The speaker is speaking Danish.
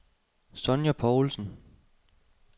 Sonja Povlsen